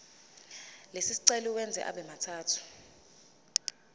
lesicelo uwenze abemathathu